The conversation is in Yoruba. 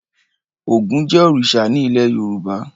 Ògún jẹ́ òrìṣà ní ilé Yorùbá.